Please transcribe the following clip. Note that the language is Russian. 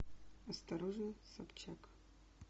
осторожно собчак